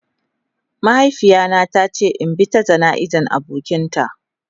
Mahaifiya na ta ce in bi ta jana'iza abokian ta.